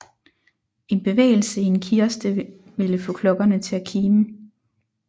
En bevægelse i en kiste ville få klokkerne til at kime